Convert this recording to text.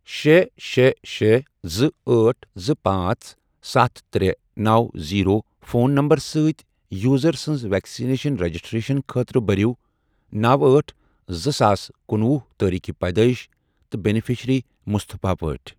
شے، شے، شے، زٕ، أٹھ، زٕ، پانژھ، ستھ، ترے، نو، زیرو، فون نمبرٕ سۭتۍ یوزر سٕنٛز ویکسیٖن رجسٹریشن خٲطرٕ بٔرِو نو أٹھ زٕ ساس کنُوُہ تٲریٖخی پیدٲئش تہٕ بیٚنِفیشرِی مُصطفیٰ پٲٹھۍ ۔